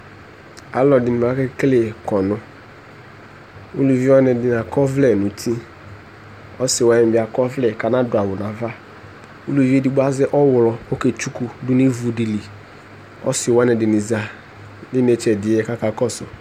alo ɛdini ake kele kɔno uluvi wani ɛdini akɔ ɔvlɛ no uti ɔse wani bi akɔ ɔvlɛ ko ana do awu no ava uluvi edigbo di azɛ ɔwlɔ ko ɔke tsuku do no ivu di li ɔse wani ɛdini za no inetse ɛdiɛ ko aka kɔso